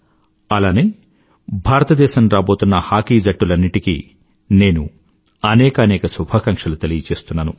అలానే భారతదేశం రాబోతున్న హాకీ జట్టులన్నింటికీ నేను అనేకానేక శుభాకంక్షలు తెలియచేస్తున్నాను